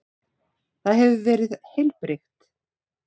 Það hefur verið heilbrigt?